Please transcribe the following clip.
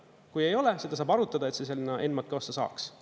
Kui ei ole, seda saab arutada, et see sinna ENMAK-i ossa saaks.